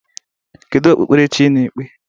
Kedu okpukpere chi ị na-ekpe?